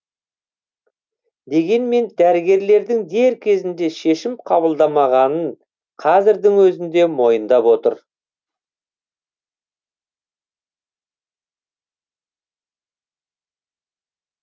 дегенмен дәрігерлердің дер кезінде шешім қабылдамағанын қазірдің өзінде мойындап отыр